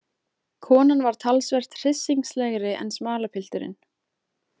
Konan var talsvert hryssingslegri en smalapilturinn.